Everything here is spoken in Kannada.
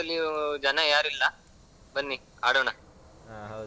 ಇಲ್ಲಿ ಜನ ಈಗ practice ಲ್ಲಿ ಜನ ಯಾರು ಇಲ್ಲಾ ಬನ್ನಿ ಆಡೋಣ.